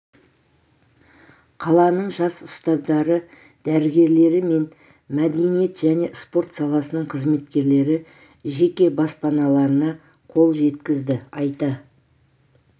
қаланың жас ұстаздары дәрігерлері мен мәдениет және спорт саласының қызметкерлері жеке баспаналарына қол жеткізді айта